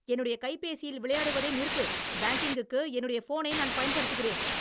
என்னுடைய கைப்பேசியில் விளையாடுவதை நிறுத்து. பேங்கிங்குக்கு என்னுடைய போனை நான் பயன்படுத்துகிறேன்.